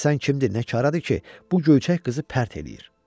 Həsən kimdir, nə karadır ki, bu göyçək qızı pərt eləyir?